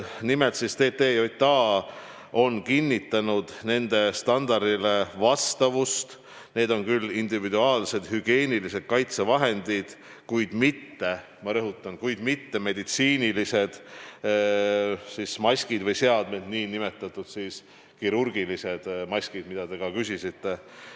Nimelt on TTJA kinnitanud nende standardile vastavust, st need on küll individuaalsed hügieenilised kaitsevahendid, kuid – ma rõhutan – mitte meditsiinilised maskid või seadmed, nn kirurgilised maskid, mille kohta ka küsisite.